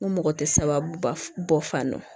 N ko mɔgɔ tɛ sababu ba bɔ fan dɔn